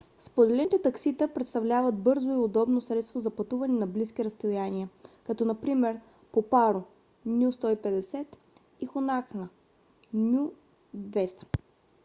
споделените таксита представляват бързо и удобно средство за пътуване на близки разстояния като например до паро nu 150 и пунакха nu 200